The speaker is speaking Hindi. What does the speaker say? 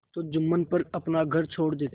तो जुम्मन पर अपना घर छोड़ देते थे